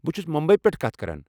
بہٕ چھُس مٗمبی پٮ۪ٹھہٕ کتھ کران۔